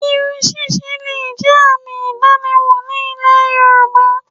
Irun ṣíṣe le è jẹ́ àmì ìdánimò ní ilẹ̀ yorùbá